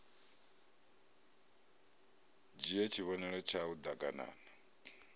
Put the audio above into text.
dzhie tshivhonelo tshau d aganana